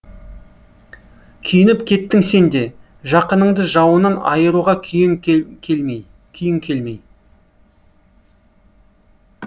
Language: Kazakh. күйініп кеттің сен де жақыныңды жауынан айыруға күйің келмей